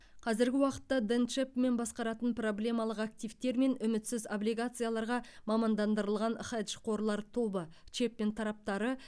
қазіргі уақытта дэн чэпмен басқаратын проблемалық активтер мен үмітсіз облигацияларға мамандандырылған хедж қорлар тобы чэпмен тараптары